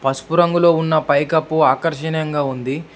పసుపు రంగులో ఉన్న పైకప్పు ఆకర్షణీయంగా ఉంది.